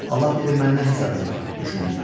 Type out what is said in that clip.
Allah bilir məni nə hesab edir, düşündü.